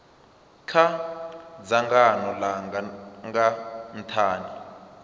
kha dzangano langa nga nthani